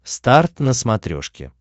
старт на смотрешке